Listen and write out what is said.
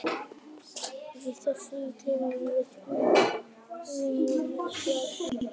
Í þessum klefa voru þrjú rúm og lítil aðstaða umfram það.